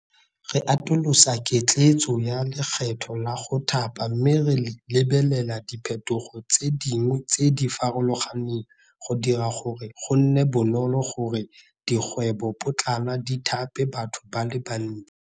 Re atolosa ketleetso ya lekgetho la go Thapa mme re lebelela diphetogo tse dingwe tse di farologaneng go dira gore go nne bonolo go re dikgwebopotlana di thape batho ba le bantsi.